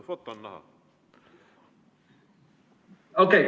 OK.